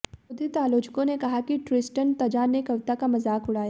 क्रोधित आलोचकों ने कहा कि ट्रिस्टन तज़ा ने कविता का मजाक उड़ाया